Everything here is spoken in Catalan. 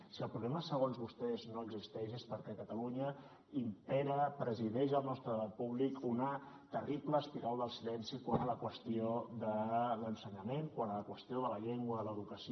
si el problema segons vostès no existeix és perquè a catalunya impera presideix el nostre debat públic una terrible espiral del silenci quant a la qüestió de l’ensenyament quant a la qüestió de la llengua i l’educació